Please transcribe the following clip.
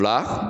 Fila